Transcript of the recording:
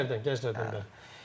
Gəclərdən, gəclərdən bəli.